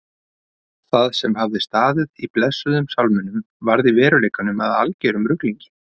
Það sem hafði staðið í blessuðum sálminum varð í veruleikanum að algerum ruglingi.